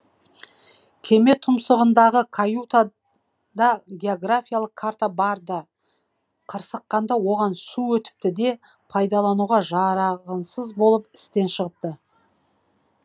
кеме тұмсығындағы каюта да географиялық карта бар ды қырсыққанда оған су өтіпті де пайдалануға болып істен шығыпты